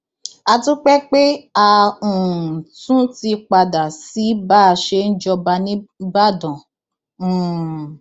a dúpẹ pé a um tún ti padà sí báa ṣe ń jọba nígbàdàn um